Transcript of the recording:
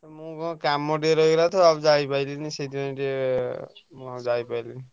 ମୋର କାମ ଟିକେ ରହିଗଲା ତ ଆଉ ଯାଇପାଇଲିନି ସେଇଥିପାଇଁ ଟିକେ ମୁଁ ଯାଇପାଇଲିନି।